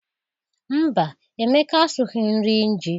Mba, Emeka asụghị nri ji.